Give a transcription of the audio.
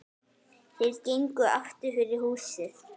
Þeir gengu aftur fyrir húsið.